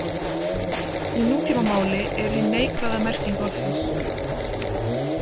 Í nútímamáli er hin neikvæða merking orðsins.